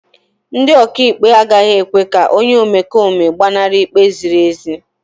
Ndị ọkàikpe agaghị ekwe ka onye omekome gbanarị ikpe ziri ezi.